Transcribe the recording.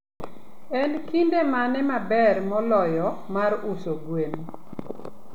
En kinde mane maber moloyo mar uso gwen?